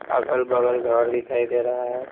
अगल-बगल घर दिखाई दे रहा है।